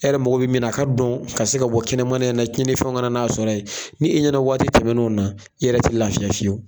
E yɛrɛ mago bɛ min na a ka dɔn ka se ka bɔ kɛnɛmana in na tiɲɛnifɛnw kana n'a sɔrɔ ye, ni e ɲɛna waati tɛmɛn'o na i yɛrɛ te lafiya fiyewu.